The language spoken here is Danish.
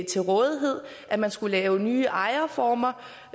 til rådighed at man skulle lave nye ejerformer